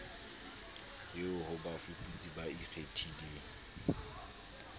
eo ho bafuputsi ba ikgethileng